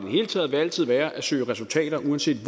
hele taget altid være at søge resultater uanset